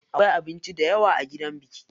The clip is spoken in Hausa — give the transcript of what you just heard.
Akwai abinci dayawa a gidan biki.